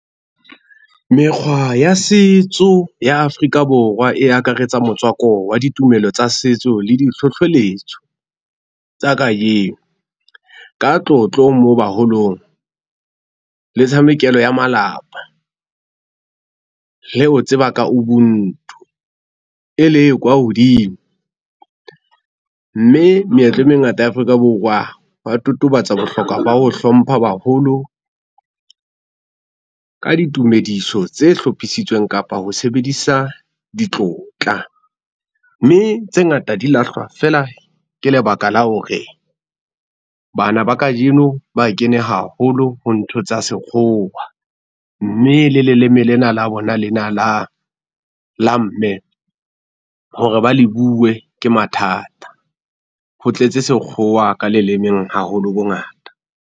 Mekgwa ya setso ya Afrika Borwa e akaretsa motswako wa ditumelo tsa setso le di hlohloletso tsa kajeno. Ka tlotlo moo baholong le tshamekelo ya malapa. Le ho tseba ka Ubuntu e le kwa hodimo, mme meetlo e mengata ya Afrika Borwa wa totobatsa bohlokwa ba ho hlompha baholo ka ditumediso tse hlophisitsweng, kapa ho sebedisa ditlotla. Mme tse ngata di lahlwa feela ke lebaka la hore bana ba kajeno ba kene haholo ho ntho tsa sekgowa, mme le leleme lena la bona lena la la mme hore ba le bue ke mathata. Ho tletse sekgowa ka lelemeng haholo bongata.